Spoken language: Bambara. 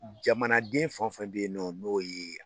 Jamanaden fan fɛn bɛ ye nɔ n'o ye